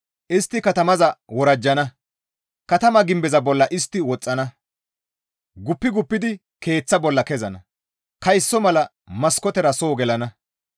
Istti katamaza worajjana; katama gimbeza bolla istti woxxana; guppi guppidi keeththata bolla kezana; kayso mala maskootera soo gelana.